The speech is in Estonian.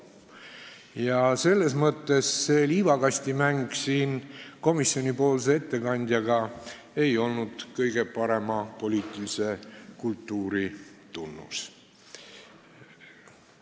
Ja selles mõttes ei olnud see liivakastimäng komisjoni ettekandjaga siin kõige parema poliitilise kultuuri tunnus.